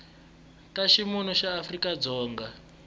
ta ximunhu ya afrika dzonga